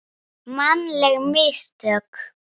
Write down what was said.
Mannleg mistök?